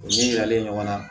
U ni yiralen ɲɔgɔn na